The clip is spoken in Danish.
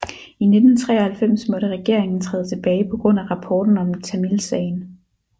I 1993 måtte regeringen træde tilbage på grund af rapporten om tamilsagen